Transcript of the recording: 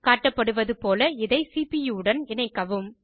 காட்டப்படுவது போல இதை சிபியூ உடன் இணைக்கவும்